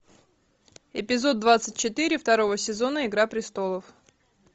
эпизод двадцать четыре второго сезона игра престолов